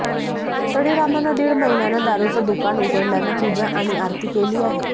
तळीरामानं दीड महिन्यानं दारूचं दुकानं उघडल्यानं पूजा आणि आरती केली आहे